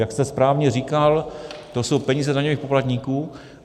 Jak jste správně říkal, to jsou peníze daňových poplatníků.